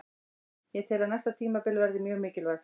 Ég tel að næsta tímabil verði mjög mikilvægt.